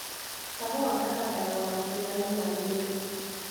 Kahũa kahandagwo na ũtiganu mwagĩrĩru.